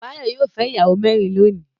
Báyọ̀ yóò fẹ́ ìyàwó mẹ́rin lónìí.